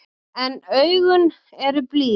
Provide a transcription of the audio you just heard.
En augun eru blíð.